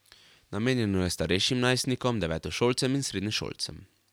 Namenjeno je starejšim najstnikom, devetošolcem in srednješolcem.